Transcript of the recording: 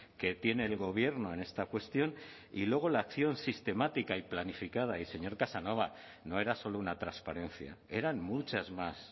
que tiene el gobierno en esta cuestión y luego la acción sistemática y planificada y señor casanova no era solo una transparencia eran muchas más